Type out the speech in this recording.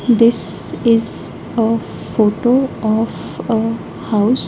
This is a photo of a house.